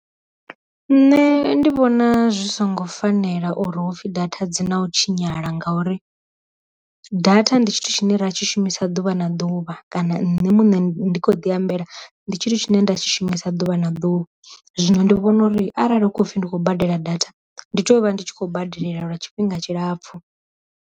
Nṋe ndi vhona zwi songo fanela uri hupfi data dzi na u tshinyala ngauri, data ndi tshithu tshine ra tshi shumisa ḓuvha na ḓuvha kana nṋe ndi kho ḓi ambela ndi tshithu tshine nda tshi shumisa ḓuvha na ḓuvha, zwino ndi vhona uri arali hu khou pfi ndi khou badela data, ndi tea u vha ndi tshi kho badelela lwa tshifhinga tshilapfhu.